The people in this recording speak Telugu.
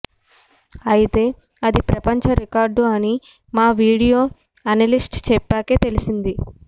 అయితే అది ప్రపంచ రికార్డు అని మా వీడియా అనలిస్ట్ చెప్పాకే తెలిసింది